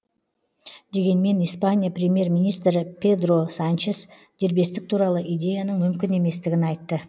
дегенмен испания премьер министрі педро санчес дербестік туралы идеяның мүмкін еместігін айтты